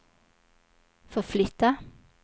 förflytta